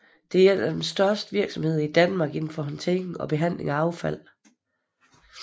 Det er et de største virksomheder i Danmark inden for håndtering og behandling af affald